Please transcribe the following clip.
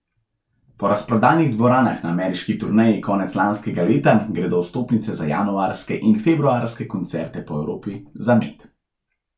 Po razprodanih dvoranah na ameriški turneji konec lanskega leta gredo vstopnice za januarske in februarske koncerte po Evropi za med.